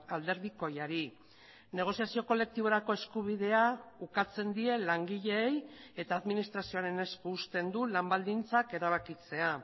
alderdikoiari negoziazio kolektiborako eskubidea ukatzen die langileei eta administrazioaren esku uzten du lan baldintzak erabakitzea